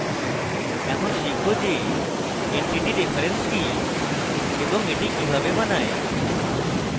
এখন শিখব যে entity reference কি এবং এটি কিভাবে বানায়